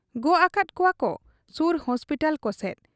ᱜᱚᱜ ᱟᱠᱟᱫ ᱠᱚᱣᱟᱠᱚ ᱥᱩᱨ ᱦᱚᱥᱯᱤᱴᱟᱞ ᱠᱚᱥᱮᱫ ᱾